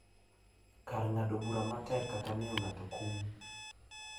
Kar ng’ado bura matek kata miyo ng’ato kum.